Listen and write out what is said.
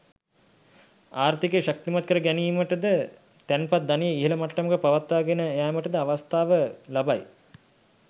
ආර්ථිකය ශක්තිමත් කර ගැනීමට ද තැන්පත් ධනය ඉහළ මට්ටමක පවත්වා ගෙන යාමට ද අවස්ථාව ලබයි.